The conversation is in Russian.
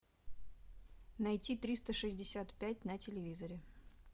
найти триста шестьдесят пять на телевизоре